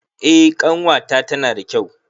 Eh ƙanwata tana da kyau.